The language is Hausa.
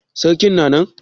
Sarki na nan?